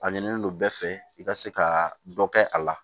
A ɲinilen don bɛɛ fɛ i ka se ka dɔ kɛ a la